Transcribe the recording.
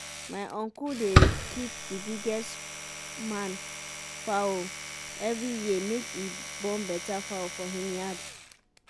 my uncle dey keep the biggest man fowl every year make e born better fowl for him yard.